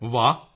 ਮੋਦੀ ਜੀ ਵਾਹ